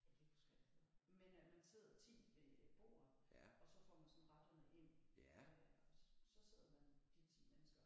Jeg kan ikke huske hvad det hedder men at man sidder 10 ved bordet og så får man sådan retterne ind og så sidder man de 10 mennesker